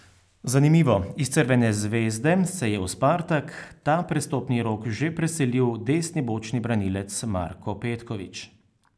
Zanimivo, iz Crvene zvezde se je v Spartak ta prestopni rok že preselil desni bočni branilec Marko Petković.